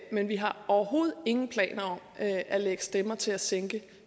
men vi har overhovedet ingen planer at lægge stemmer til at sænke